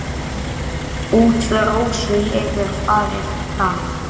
Útför Rósu hefur farið fram.